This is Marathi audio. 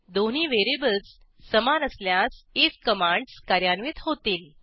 दोन्ही व्हेरिएबल्स समान असल्यास आयएफ कमांडस कार्यान्वित होतील